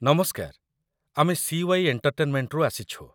ନମସ୍କାର, ଆମେ ସି.ୱାଇ. ଏଣ୍ଟର୍ଟେନ୍‌ମେଣ୍ଟ୍‌ରୁ ଆସିଛୁ।